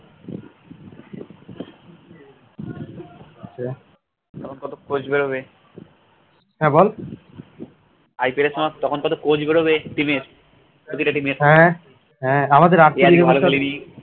আছে তখন কত couch বেরবে IPL এর সময় তখন কত couch বেরোবে team এর প্রতিটা